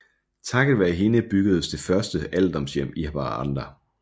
Takket være hende byggedes det første alderdomshjem i Haparanda